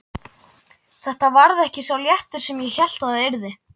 Þetta varð ekki sá léttir sem ég hélt það yrði.